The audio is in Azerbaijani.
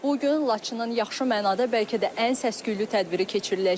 Bu gün Laçının yaxşı mənada bəlkə də ən səs-küylü tədbiri keçiriləcək.